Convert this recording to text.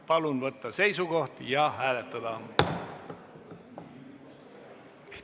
Palun võtta seisukoht ja hääletada!